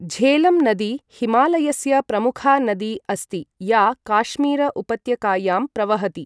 झेलम् नदी हिमालयस्य प्रमुखा नदी अस्ति या काश्मीर उपत्यकायां प्रवहति।